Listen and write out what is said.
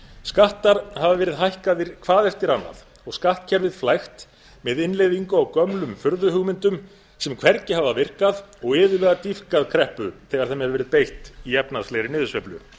skattar hafa verið hækkaðir hvað eftir annað og skattkerfið flækt með innleiðingu á gömlum furðuhugmyndum sem hvergi hafa virkað og iðulega dýpkað kreppu þegar þeim hefur verið beitt í efnahagslegri niðursveiflu